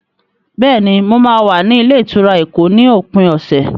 Bẹ́ẹ̀ni, mo máa wà ní ilé-ìtura Èkó ní òpin ọ̀sẹ̀.